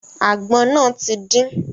Àgbọn náà ti din.